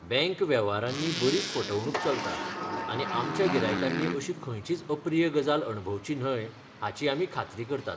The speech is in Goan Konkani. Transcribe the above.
बॅंक वेव्हारांनी बरीच फटवणूक चलता, आनी आमच्या गिरायकांनी अशी खंयचीच अप्रिय गजाल अणभवची न्हय हाची आमी खात्री करतात.